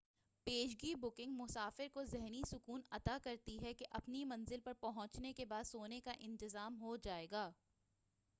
پیشگی بُکنگ مسافر کو ذہنی سکون عطا کرتی ہے کہ اپنی منزل پر پہنچنے کے بعد سونے کا انتظام ہوجائے گا